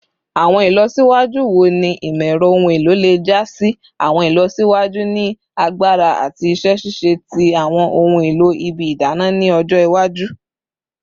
Awọn ilọsiwaju wo ni imọ-ẹrọ ohun elo le ja si awọn ilọsiwaju ni agbara ati iṣẹ ṣiṣe ti awọn ohun elo ibi idana ni ọjọ iwaju?